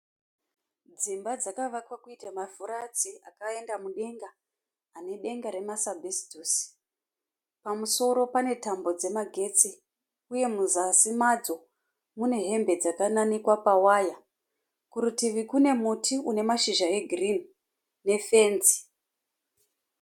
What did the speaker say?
Dzimba dzakavakwa kuita mafuratsi akaenda mudenga. Ane denga ramasabhesitosi. Pamusoro pane tambo dzemagetsi. Uye muzasi madzo mune hembe dzakananikwa pawaya. Kurutivi kune muti une mazhizha egirini nefenzi.